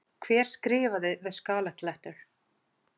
Hver skrifaði The Scarlet Letter?